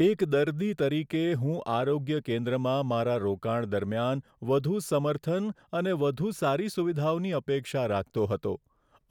એક દર્દી તરીકે, હું આરોગ્ય કેન્દ્રમાં મારા રોકાણ દરમિયાન વધુ સમર્થન અને વધુ સારી સુવિધાઓની અપેક્ષા રાખતો હતો,